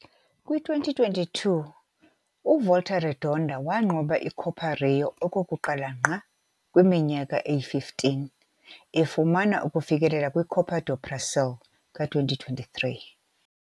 Kwi-2022, uVolta Redonda wanqoba iCopa Rio okokuqala ngqa kwiminyaka eyi-15, efumana ukufikelela kwiCopa do Brasil ka-2023.